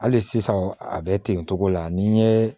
Hali sisan a bɛ ten togo la ni n ye